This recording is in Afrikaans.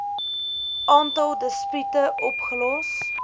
aantal dispute opgelos